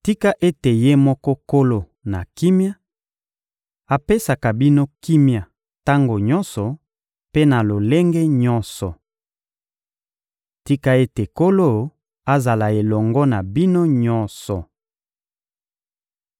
Tika ete Ye moko Nkolo na kimia apesaka bino kimia tango nyonso mpe na lolenge nyonso! Tika ete Nkolo azala elongo na bino nyonso!